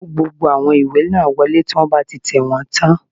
Kó gbogbo àwọn ìwé náà wọlé tí wọ́n bá ti tẹ̀wọ́n tán